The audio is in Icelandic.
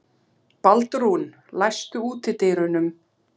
Baldrún, læstu útidyrunum.